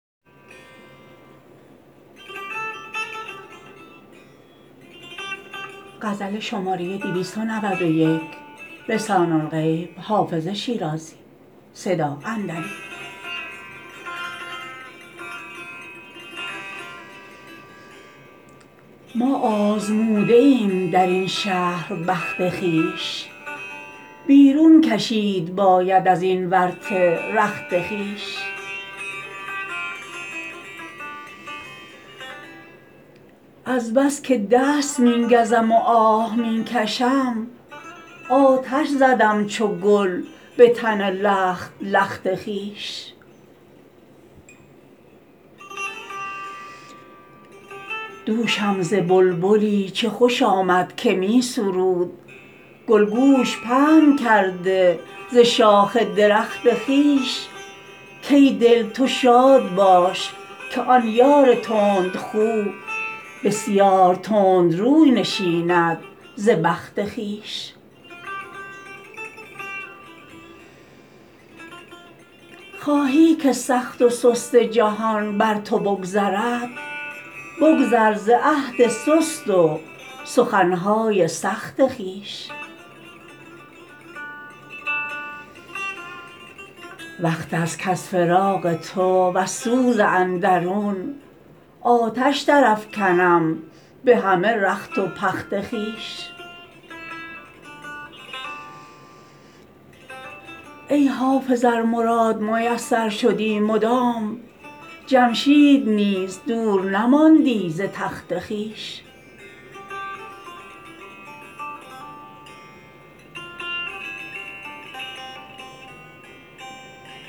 ما آزموده ایم در این شهر بخت خویش بیرون کشید باید از این ورطه رخت خویش از بس که دست می گزم و آه می کشم آتش زدم چو گل به تن لخت لخت خویش دوشم ز بلبلی چه خوش آمد که می سرود گل گوش پهن کرده ز شاخ درخت خویش کای دل تو شاد باش که آن یار تندخو بسیار تند روی نشیند ز بخت خویش خواهی که سخت و سست جهان بر تو بگذرد بگذر ز عهد سست و سخن های سخت خویش وقت است کز فراق تو وز سوز اندرون آتش درافکنم به همه رخت و پخت خویش ای حافظ ار مراد میسر شدی مدام جمشید نیز دور نماندی ز تخت خویش